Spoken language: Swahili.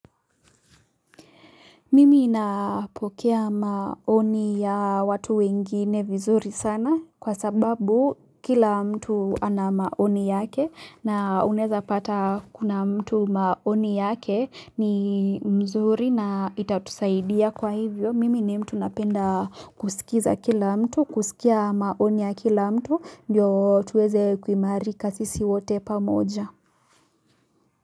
Mimi inapokea maoni ya watu wengine vizuri sana kwa sababu kila mtu anamaoni yake na uneza pata kuna mtu maoni yake ni mzuri na itatusaidia kwa hivyo. Mimi ni mtu napenda kusikiza kila mtu, kusikia maoni ya kila mtu, ndio tuweze kuimarika sisi wote pa moja.